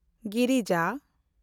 ᱜᱤᱨᱤᱡᱟ